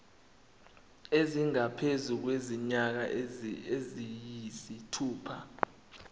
esingaphezu kwezinyanga eziyisithupha